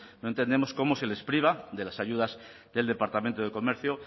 no entendemos cómo se les priva de las ayudas del departamento de comercio